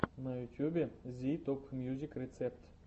на ютубе зи топмьюзик рецепт